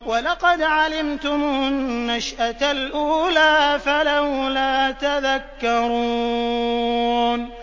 وَلَقَدْ عَلِمْتُمُ النَّشْأَةَ الْأُولَىٰ فَلَوْلَا تَذَكَّرُونَ